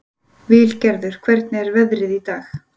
Vilgerður, hvernig er veðrið í dag?